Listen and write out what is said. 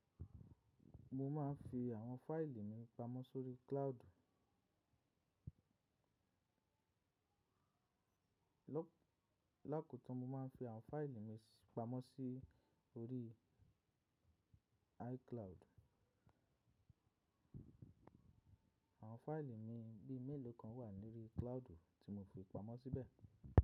Mo ma ń fi àwọn fáìlì mi pamọ́ sórí cloud. Láko tó, mo ma ń fi àwọn fáìlì mi pamọ́ sí orí iCloud. Àwọn fáìlì mi bí i mélòó kan wà ní orí cloud tí mo fi pamọ́ síbẹ̀.